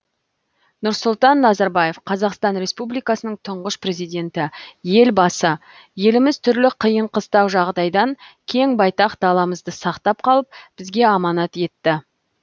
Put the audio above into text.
нұрсұлтан назарбаев қазақстан республикасының тұңғыш президенті елбасы еліміз түрлі қиын қыстау жағдайдан кең байтақ даламызды сақтап қалып бізге аманат етті